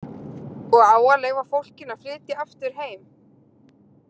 Og á að leyfa fólkinu að flytja aftur heim?